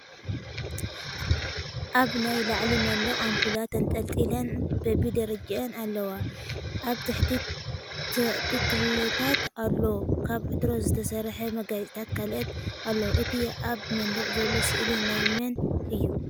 ኣብ ናይ ላዕሊ መንድቅ ኣንፑላት ተንጠልጢለን በቢ ደረጅአን ኣለዋ። ኣብ ታሕቲ ተክልታት ኣሎ ካብ ዕትሮ ዝተሰርሐ መጋየፅታትን ካልኦትን ኣሎ እቲ ኣብ መንደቅ ዘሎ ስእሊ ናይ መን እዩ?